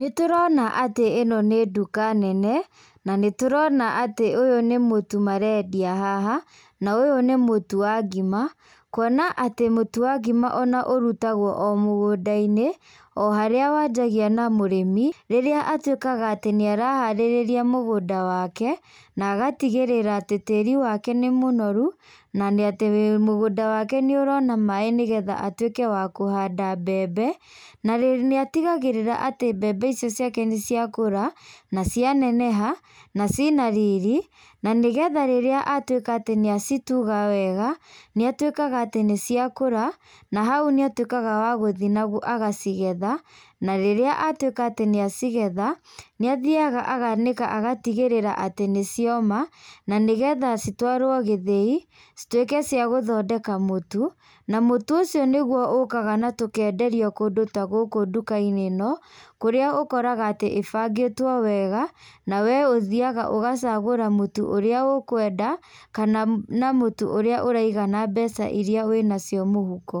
Nĩ tũrona atĩ ĩno nĩ nduka nene, na nĩ tũrona atĩ ũyũ nĩ mũtu marendia haha. Na ũyũ nĩ mũtu wa ngima. Kuona atĩ mũtu wa ngima ona ũrutagwo o mũgũnda-inĩ, o harĩa wanjagia na mũrĩmi rĩrĩa atuĩkaga atĩ nĩaraharĩrĩria mũgũnda wake. Na agatigĩrĩra atĩ tĩĩri wake nĩ mũnoru, na atĩ mũgũnda wake nĩ ũrona maĩ nĩgetha atuĩke wa kũhanda mbembe. Na nĩatigagĩrĩra atĩ mbembe icio ciake nĩciakũra, na cia neneha, na ciĩna riri. Na nĩgetha rĩrĩa atuĩka atĩ nĩacituga wega, naituĩkaga atĩ nĩcia kũra, na hau nĩatuĩkaga wa gũthiĩ na agacigetha. Na rĩrĩa atuĩka atĩ nĩ acigetha, nĩ athiaga agacianĩka agatigĩrĩra atĩ nĩcioma. Na nĩgetha citũarwo gĩthĩi cituĩke cia gũthondeka mũtu. Na mũtu ũcio nĩguo ũkaga na tũkenderio kũndũ ta gũkũ nduka-inĩ ĩno. Kũrĩa ũkoraga atĩ ibangĩtwo wega. Na we ũthiaga ũgacagũra mũtu ũrĩa ũkwenda kana na mũtu ũrĩa ũraigana mbeca iria wĩnacio mũhuko.